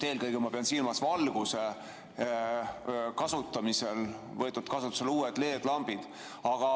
Eelkõige pean silmas, et valgustuses on võetud kasutusele uued LED-lambid.